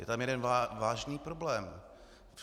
Je tam jeden vážný problém.